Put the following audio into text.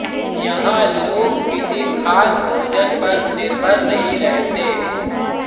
यहां लोग किसी ख़ास भोजन पर निर्भर नहीं रहते